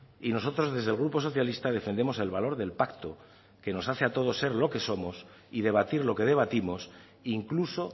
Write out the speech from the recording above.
y nosotros desde el grupo socialista defendemos el valor del pacto que nos hace a todos ser lo que somos y debatir lo que debatimos incluso